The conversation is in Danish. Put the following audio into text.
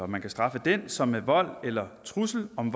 man kan straffe den som med vold eller trussel om